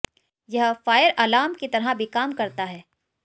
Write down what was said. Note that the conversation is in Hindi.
यह फायर अलार्म की तरह भी काम करता है